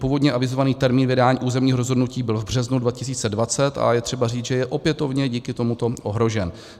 Původně avizovaný termín vydání územního rozhodnutí byl v březnu 2020 a je třeba říct, že je opětovně díky tomuto ohrožen.